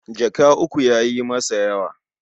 Jaka uku ya yi masa yawa.